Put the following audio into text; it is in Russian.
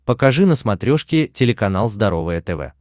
покажи на смотрешке телеканал здоровое тв